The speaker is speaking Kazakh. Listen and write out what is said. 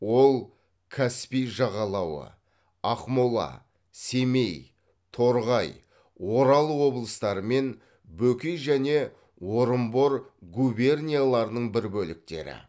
ол каспий жағалауы ақмола семей торғай орал облыстары мен бөкей және орынбор губернияларының бір бөліктері